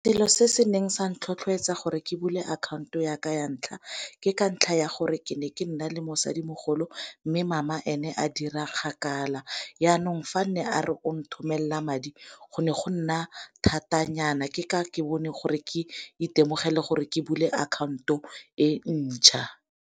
Selo se se neng sa ntlha tlhotlhoetsa gore ke bule akhaonto ya ka ya ntlha ke ka ntlha ya gore ke ne ke nna le mosadimogolo mme mama ene a dira kgakala, yanong fa nne a re o nthomelela madi go ne go nna thata nyana ke ka ke bone gore ke itemogele gore ke bule akhaonto e ntjha.